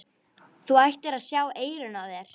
Þú ættir að sjá eyrun á þér!